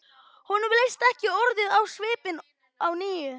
Honum leist ekki orðið á svipinn á Nínu.